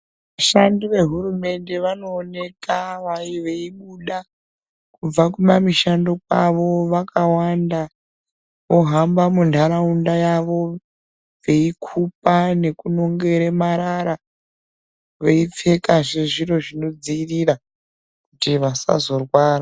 Vashandi vehurumende vanooneka veibuda kubva kumamishando kwavo vakawanda. Vohamba muntaraunda yavo veikupa nekunongere marara veipfekazve zviro zvinodzirira kuti vasazorwara.